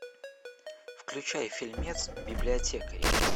включай фильмец библиотекари